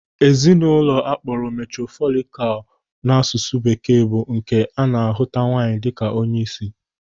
Ezinụlọ akpọrọ matrifokal n'asụsụ bekee bụ nke a na-ahụta nwaanyị dịka onyeisi.